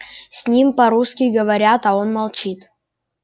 с ним по-русски говорят а он молчит